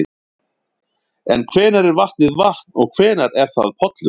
En hvenær er vatnið vatn og hvenær er það pollur?